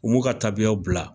U b'u ka tabiya bila